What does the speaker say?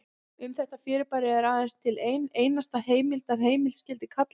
Um þetta fyrirbæri er aðeins til ein einasta heimild ef heimild skyldi kalla.